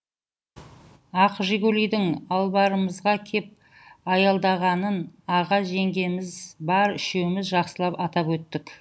ақ жигулидің албарымызға кеп аялдағанын аға жеңгеміз бар үшеуміз жақсылап атап өттік